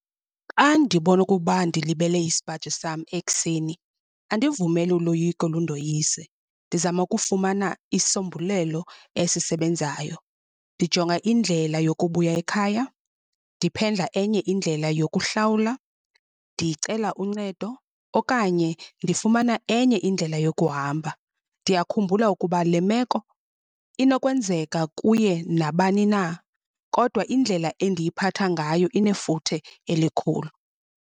Kandibona okokuba ndilibele isipaji sam ekuseni, andivumeli uloyiko lundoyise. Ndizama ukufumana isombulelo esisebenzayo, ndijonga indlela yokubuya ekhaya, ndiphendla enye indlela yokuhlawula, ndicela uncedo okanye ndifumana enye indlela yokuhamba. Ndiyakhumbula ukuba le meko inokwenzeka kuye nabani na, kodwa indlela endiyiphatha ngayo inefuthe elikhulu.